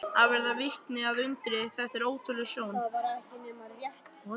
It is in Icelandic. Að verða vitni að undri Þetta var ótrúleg sjón.